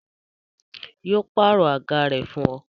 Yo pàrọ̀ àga rẹ fún ọ